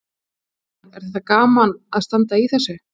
Kristján: Er þetta gaman að standa í þessu?